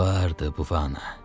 Vardı, Buvano.